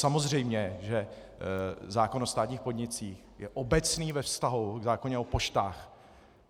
Samozřejmě že zákon o státních podnicích je obecný ve vztahu k zákonu o poštách.